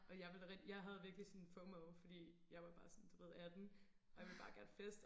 Og jeg ville da jeg havde virkelig sådan fomo fordi jeg var bare sådan du ved 18 og jeg ville bare gerne feste